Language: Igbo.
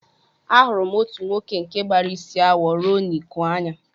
Ahụrụ m otu nwoke nke gbara isi awọ ruo n'iku anya